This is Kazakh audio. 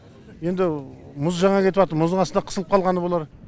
енді мұз жаңа кетіватыр мұз астында қысылып қалғаны болар